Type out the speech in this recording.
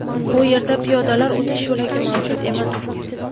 Bu yerda piyodalar o‘tish yo‘lagi mavjud emas.